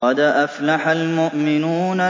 قَدْ أَفْلَحَ الْمُؤْمِنُونَ